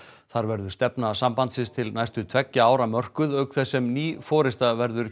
þar verður stefna sambandsins til næstu tveggja ára mörkuð auk þess sem ný forysta verður